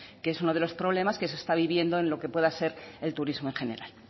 que es uno de los problemas que se está viviendo en lo que puede ser el turismo en general